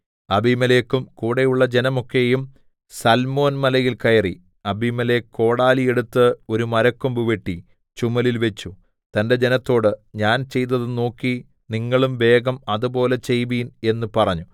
അബീമേലെക്കും കൂടെയുള്ള ജനമൊക്കെയും സല്മോൻമലയിൽ കയറി അബീമേലെക്ക് കോടാലി എടുത്ത് ഒരു മരക്കൊമ്പ് വെട്ടി ചുമലിൽ വെച്ചു തന്റെ ജനത്തോട് ഞാൻ ചെയ്തത് നോക്കി നിങ്ങളും വേഗം അതുപോലെ ചെയ്‌വിൻ എന്ന് പറഞ്ഞു